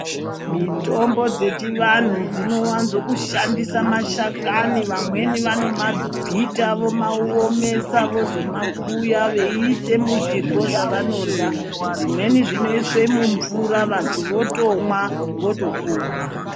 Mitombo zvechivanhu dzino wadzoshandisa mashakani vamweni vanomabvita vomaomesa vozomakuya veiisa muzvirwo zvavanohya dzimweni zvinoiswe mumvura vantu votomwa votopona.